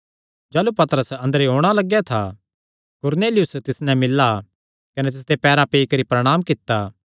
जाह़लू पतरस अंदरेयो औणां लगेया था कुरनेलियुस तिस नैं मिल्ला कने तिसदे पैरां पर पेई करी प्रणांम कित्ता